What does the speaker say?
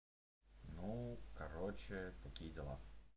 ну короче такие дела